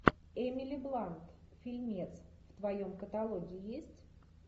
эмили блант фильмец в твоем каталоге есть